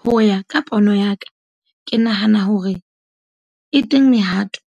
Ho ya ka pono ya ka, ke nahana hore e teng mehato